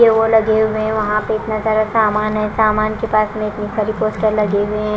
के वो लगे हुए है वहां पे इतना सारा सामान है सामान के पास में इतनी सारी पोस्टर लगे हुए हैं।